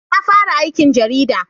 Na fara aikin jarida